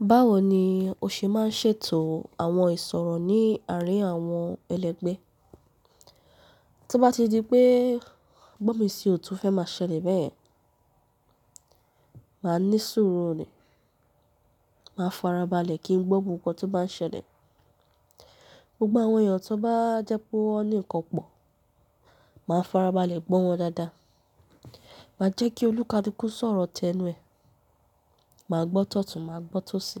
Báwo ni o ṣe máa ń ṣètò àwọn ìṣòro ní àárín àwọn ẹlẹgbẹ́? Tí ó bá ti di pé gbọ́nmi sí o to fẹ́ máa ṣẹlẹ̀ bẹ́ẹ̀, màá ní sùúrù ni, màá farabalẹ̀ kí n gbọ́ ohun kan tó bá ń ṣẹlẹ̀. Gbogbo àwọn èèyàn tó bá jẹ pé wọ́n ní ìkan pọ̀, màá farabalẹ̀ gbọ́ wọn dáadáa. Màá jẹ́ kí olúkalùkù sọ̀rọ̀ tẹnu ẹ. Màá gbọ́ tọ̀tún, màá gbọ́ tósì.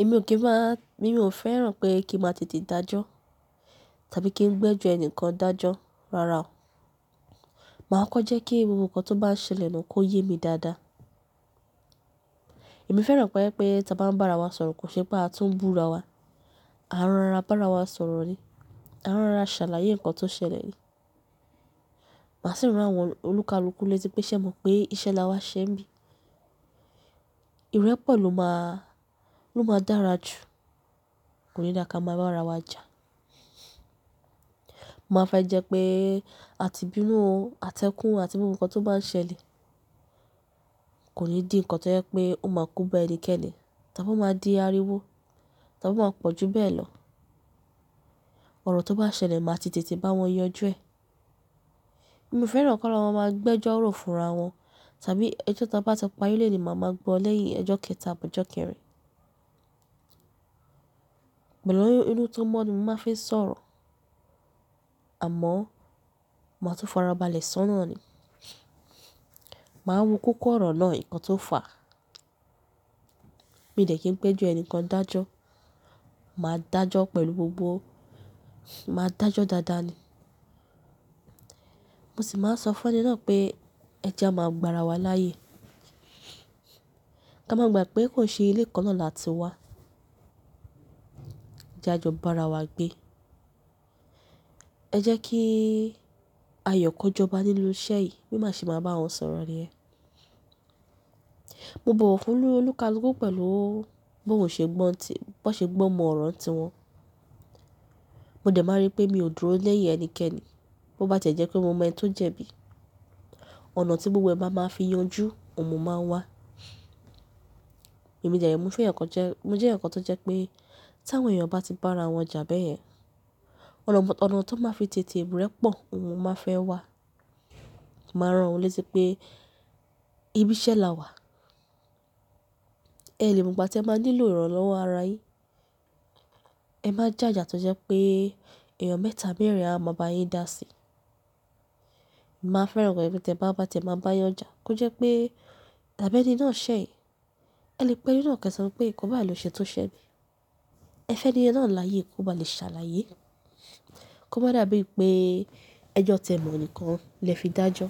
Èmi ò kí ń máa, èmi ò fẹ́ràn pé kí n máa tètè dájọ́ tàbí kí n gbẹ́jọ́ ẹnìkan dájọ́ rara o. Màá kọ́ jẹ́ kí gbogbo nkan tó bá ń ṣẹlẹ̀ na kó yé mi dáadáa. Èmi fẹ́ràn ko jẹ pé tí a bá ń bá ara wa sọ̀rọ̀ kò ṣe pé a tún búra wa. A ń rọra bá ara wa sọ̀rọ̀ ni, a ń rọra ṣàlàyé nǹkan tí ó ṣẹlẹ̀ ni. Màá sì rán àwọn olúkalùkù létí pé ṣẹ mọ̀ pé iṣẹ́ là wá ṣẹ bí. Ìrẹ́pọ̀ ló máa, ló máa dára jù. Kò ní dáa ká máa bá ara wa jà. Màá fẹ́ jẹ́ pé àti bínú o, àtẹkún àti gbogbo nkan tó bá ń ṣẹlẹ̀ kò ní di nǹkan tí ó jẹ́ pé ó máa kó bá ẹnikẹ́ni. Ta bo máa di ariwo, ta bo máa pọ̀ jú bẹ́ẹ̀ lọ, ọ̀rọ̀ tó bá ṣẹlẹ̀ máa ti tètè bá wọn yanjú ẹ. Mo fẹ́ràn kan lọ maa máa gbẹ́jọ́ ro fúnra wọn tàbí ẹjọ́ ta bá ti parí léèní, màá máa gbọ́ lẹ́yìn ẹjọ́ kẹta àbí ọjọ kẹrin. Pẹ̀lú inú tó mọ́ ni màá fi ń sọ̀rọ̀, àmọ́ màá tún farabalẹ̀ sọ́nà ni. Màá wo kókó ọ̀rọ̀ náà, nǹkan tó fà. Mi dẹ kí ń gbọ ẹjọ ẹnìkan dájọ́. Màá dájọ́ pẹ̀lú gbogbo. Màá dájọ́ dáadáa ni. Mo sì máa ń sọ fún ẹni náà pé ẹ jẹ́ a máa gbà ara wa láyè. Ká máa gbà pé kò ṣe ilé kan náà làá ti wá. Jẹ́ a jọ bá ara wa gbé. Ẹ jẹ́ kí ayọ̀ ko jọba nínú iṣẹ́ yìí, bí màá ṣe máa bá wọn sọ̀rọ̀ ni yẹn, mo bọ̀wọ̀ fún olúkalúkù pẹ̀lú bó ṣe gbọ́n tiẹ, bọn ṣe gbọ́n mọ ọ̀rọ̀ n tiwọn. Mo dẹ̀ máa n rí pé mi ò dúró lẹ́yìn ẹnikẹ́ni. Bo bá ti ẹ jẹ́ pe mo mọ ẹni tó jẹbí, ọ̀nà tí gbogbo ẹ ba máa fi yanjú òun mo máa wá. Èmi dẹ re, mo jẹ́ èèyàn kan tó jẹ́ pé tí àwọn èèyàn bá ti bá ara wọn jà bẹ́yẹn, ọ̀nà, ọ̀nà tán máa fi tètè rẹ́pọ̀ ni mo máa n fẹ́ wá. Màá rán wọn létí pé ibi iṣẹ́ là wá. Ẹ le mọgbà tí ẹ máa nílò ìrànlọ́wọ́ ara yín, ẹ má já a jà tó jẹ́ pé èèyàn mẹ́ta mẹ́rin á máa bá yín dá sí i. Màá fẹ́ràn kí èyí tí ẹ bá bá ti máa bá yanjá kó jẹ́ pé tàbí ẹni náà ṣẹ̀, ẹ lè pẹ́ ẹni náà kí ẹ sọ pé kò bá àìló ṣe tó ṣẹ bí. Ẹ fẹ́ni yẹn náà láyè kó bá lè ṣàlàyé. Kó má dàbí pé ẹjọ́ tẹ mọ̀ nìkan lè fi dájọ́.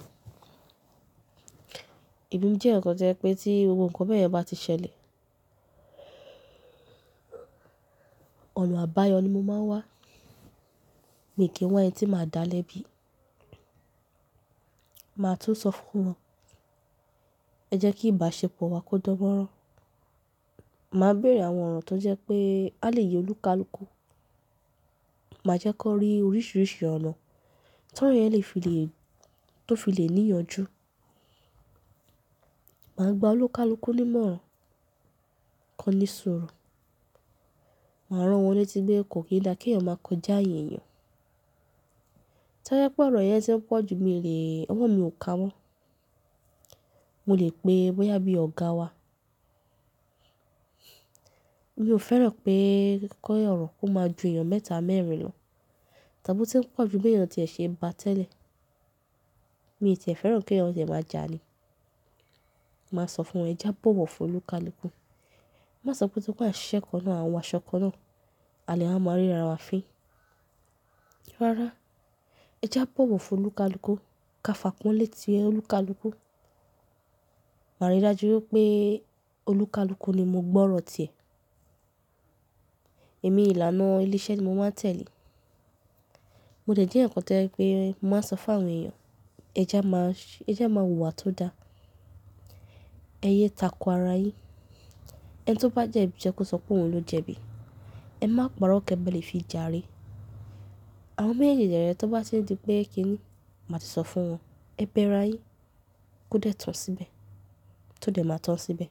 Emi jẹ́ èèyàn kan to jẹ pé tí gbogbo nkan bẹyẹn bá ti ṣẹlẹ̀, ọ̀nà àbáyọ ni mo máa wá. Mi kì n wa ẹn tí màá dáa lẹ́bi. Màá tún sọ fún wọn ẹ jẹ́ kí ìbáṣepọ̀ wa kó dan mọ́nrán. Màá béèrè àwọn ọ̀rọ̀ tó jẹ́ pé a lè ye olúkalúkù. Màá jẹ́ kan rí oríṣiríṣi ọ̀nà tọrọ yẹn lè fi lè, tó fi lè níyànjú. Màá gba olúkalúkù nímọ̀ràn, kan ní sùúrù. Màá rán wọn létí pé kò kí n dá kí wọn máa kọjá ààyè èèyàn. Tobá jẹ pe ọrọ̀ yẹn tí ń pọ̀ ju mi lè, ọwọ́ mi ò ka mọ. Mo lè pe bóyá bí ọ̀gáa wá. Mi ò fẹ́ràn pé ki ọ̀rọ̀ kó má ju èèyàn mẹ́ta mẹ́rin lọ. Tàbí o tí ń pọ̀ ju béèyàn tí ẹ̀ ṣe bá tẹ́lẹ̀. Mi tì ẹ fẹ́ràn kí èèyàn tiẹ má jà ni. Màá sọ fún wọn ẹ jẹ́ a bọ̀wọ̀ fún olúkalúkù. Má sọ pé torí pé a n ṣiṣẹ́ kanná an wọ aṣọ kaná, a lè máa ríra wa fín. Rárá ẹ jẹ́ a bọ̀wọ̀ fún olúkalúkù ká fàpọnle ti olúkalúkù. Màá rí i dájú wipé olúkalúkù ni mo gbọ́ ọ̀rọ̀ tiẹ̀. Èmi ìlànà ilé iṣẹ́ ni mo máa n tẹ̀lé. Mo dẹ̀ jẹ́ èèyàn kan to jẹ pé mo máa ń sọ fún àwọn èèyàn ẹ jẹ́ a má, ẹ jẹ́ a má wùwà tó dá. Ẹ yé tako ara yín. Ẹni tí ó bá jẹ bí jẹ ko sọ pé òun ló jẹbí. Ẹ má parọ kẹ́ ba le fi jàre. Àwọn ọmọ méjèèjì dẹ́ree tan bá ti n di pé kí ni, màá ti sọ fún wọn ẹ bẹ́ra yín kó dẹ̀ tàn síbẹ̀, tó dẹ̀ má tàn síbẹ̀.